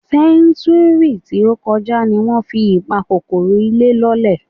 Sẹ́ńtúúrì tí ó kọjá ni wọ́n fi ìpakòkòrò ilé lọ́lẹ̀.